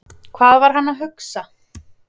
Hvað var hann að hugsa?